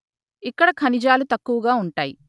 ఇక్కడ ఖనిజాలు తక్కువగా ఉంటాయి